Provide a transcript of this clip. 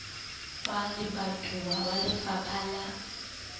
wa lebatowa wa lefapha la